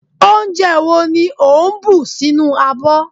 onje wo ni o n bu sinu abo